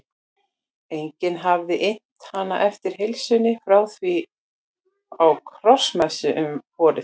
Enginn hafði innt hana eftir heilsunni frá því á krossmessu um vorið.